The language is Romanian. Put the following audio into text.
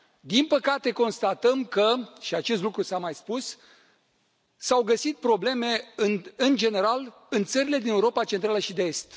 Din păcate, constatăm că și acest lucru s a mai spus s au găsit probleme, în general în țările din Europa Centrală și de Est.